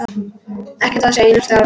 Ég á ekkert einasta orð.